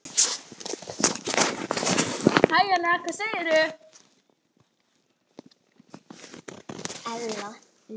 Eru það hestburðir?